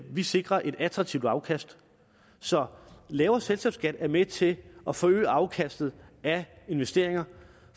vi sikrer et attraktivt afkast så lavere selskabsskat er med til at forøge afkastet af investeringer